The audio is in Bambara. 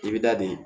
I bɛ da di